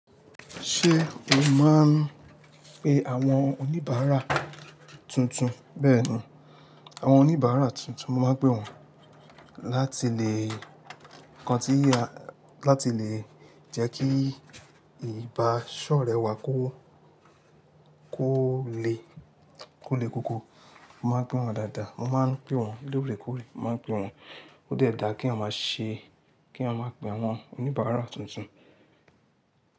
Ṣé o máa ń pe àwọn oníbàárà tuntun? Bẹ́ẹ̀ni, àwọn oníbàárà tuntun, mo máa ń pè wọ́n láti lè kan tí láti lè jẹ́ kí ìbáṣọ̀rẹ́ wá kó kó le kó le koko. Mo máa ń pè wọ́n dáadáa, mo máa ń pè wọ́n lóòrèkóòrè, mo máa ń pè wọ́n. Ó dẹ̀ dáa kéèyàn máa ṣe, kéèyàn máa pe àwọn oníbàárà tuntun.